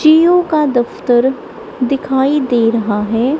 जिओ का दफ्तर दिखाई दे रहा है।